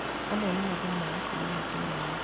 Amwe nĩmathamaga kuma matũrainĩ